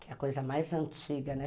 Que é a coisa mais antiga, né?